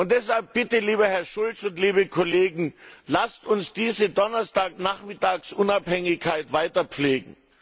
Deshalb bitte, lieber Herr Schulz und liebe Kollegen Lasst uns diese Donnerstagsnachmittags Unabhängigkeit weiter pflegen!